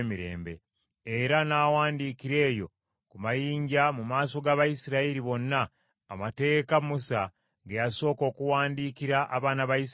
Era n’awandiikira eyo ku mayinja mu maaso g’Abayisirayiri bonna, amateeka Musa ge yasooka okuwandiikira abaana ba Isirayiri.